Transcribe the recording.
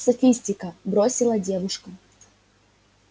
софистика бросила девушка